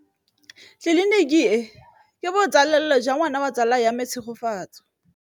Tleliniki e, ke botsalêlô jwa ngwana wa tsala ya me Tshegofatso.